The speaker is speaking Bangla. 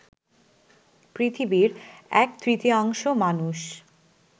পৃথিবীর এক তৃতীয়াংশ মানুষ